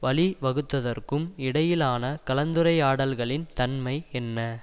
வழி வகுத்ததற்கும் இடையிலான கலந்துரையாடல்களின் தன்மை என்ன